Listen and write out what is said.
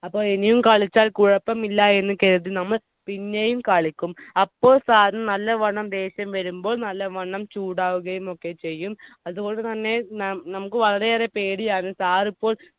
അപ്പൊ ഇനിയും കളിച്ചാൽ കുഴപ്പമില്ലായെന്ന് കരുതി നമ്മൾ പിന്നെയും കളിക്കും. അപ്പോൾ. Sir നു നല്ലവണ്ണം ദേഷ്യം വരുമ്പോൾ നല്ലവണ്ണം ചൂടാവുകയും ഒക്കെ ചെയ്യും. അതുകൊണ്ടുതന്നെ നമുക്ക് വളരെയേറെ പേടിയാവും. Sir ഇപ്പോൾ